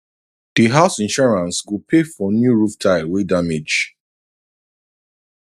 the house insurance go pay for new roof tile wey damage